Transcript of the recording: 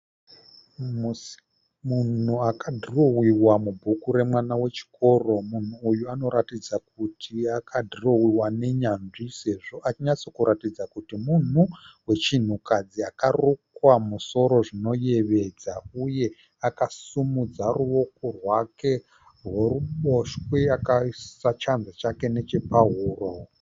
Munhu akadhirowewa mubhuku remwana wechikoro. Munhu uyu anoratidza kuti akadhirowewa nenyanzvi sezvo achinyatsokuratidza kuti munhu wechinhukadzi akarukwa musoro zvinoyevedza uye akasimudza ruoko rwake rworuboshwe akaisa chanza chake nechepahuro.